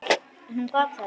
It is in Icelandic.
En hún gat það ekki.